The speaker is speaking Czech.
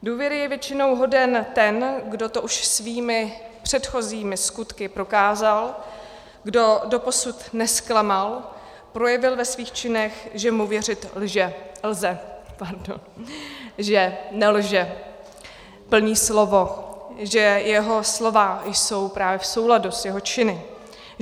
Důvěry je většinou hoden ten, kdo to už svými předchozími skutky prokázal, kdo doposud nezklamal, projevil ve svých činech, že mu věřit lze, že nelže, plní slovo, že jeho slova jsou právě v souladu s jeho činy.